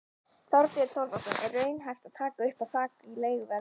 Þorbjörn Þórðarson: Er raunhæft að taka upp þak á leiguverð?